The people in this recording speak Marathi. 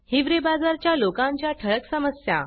हिवरे बाजार च्या लोकांच्या ठळक समस्या